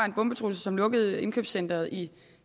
en bombetrussel som lukkede indkøbscenteret i